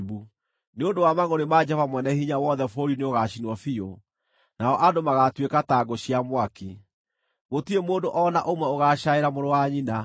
Nĩ ũndũ wa mangʼũrĩ ma Jehova Mwene-Hinya-Wothe bũrũri nĩũgaacinwo biũ, nao andũ magaatuĩka ta ngũ cia mwaki; gũtirĩ mũndũ o na ũmwe ũgacaaĩra mũrũ wa nyina.